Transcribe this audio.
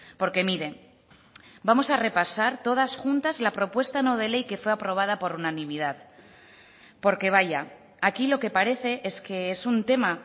porque mire vamos a repasar todas juntas la propuesta no de ley que fue aprobada por unanimidad porque vaya aquí lo que parece es que es un tema